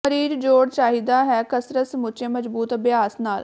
ਮਰੀਜ਼ ਜੋੜ ਚਾਹੀਦਾ ਹੈ ਕਸਰਤ ਸਮੁੱਚੇ ਮਜ਼ਬੂਤ ਅਭਿਆਸ ਨਾਲ